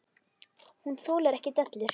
Hún þolir ekki dellur.